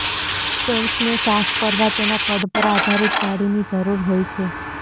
ટેન્કને સાફ કરવા તેના કદ પર આધારિત જાળીની જરૂર હોય છે